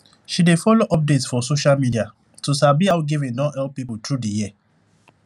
she dey follow update for social media to sabi how giving don help people through di year